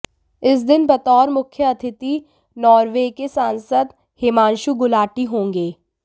इस दिन बतौर मुख्य अतिथि नार्वे के सांसद हिमांशु गुलाटी होंगे